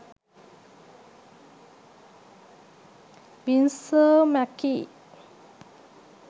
winsor mccay